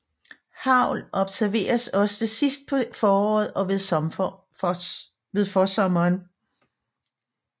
Hagl observeres også sidst på foråret og ved forsommeren